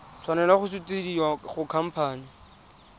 tshwanela go sutisediwa go khamphane